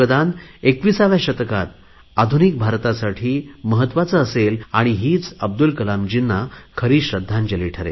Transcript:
त्यावर आमची नवीन पिढी काम करेल त्यांचे योगदान 21 या शतकात आधुनिक भारतासाठी महत्त्वाचे असेल आणि हीच अब्दुल कलामजींना खरी श्रध्दांजली ठरेल